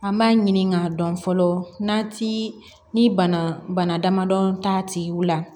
An b'a ɲini k'a dɔn fɔlɔ n'a ti ni bana bana damadɔn t'a tigiw la